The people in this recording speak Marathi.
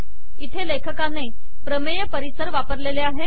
इथे लेखकाने प्रमेय पर्यावरण वापरलेले आहे